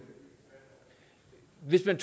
hvis man